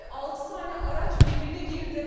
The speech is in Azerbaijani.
Altı dənə araç birbirinə girdi.